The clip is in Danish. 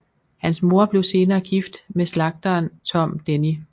Hans mor blev senere gift med slagteren Tom Denny